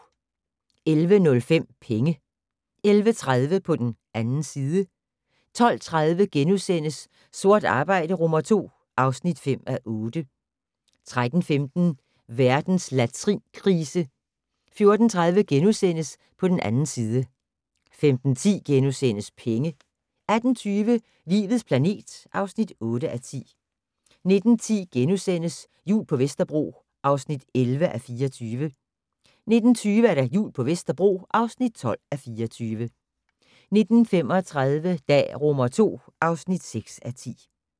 11:05: Penge 11:30: På den 2. side 12:30: Sort arbejde II (5:8)* 13:15: Verdens latrinkrise 14:30: På den 2. side * 15:10: Penge * 18:20: Livets planet (8:10) 19:10: Jul på Vesterbro (11:24)* 19:20: Jul på Vesterbro (12:24) 19:35: Dag II (6:10)